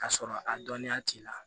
K'a sɔrɔ a dɔnniya t'i la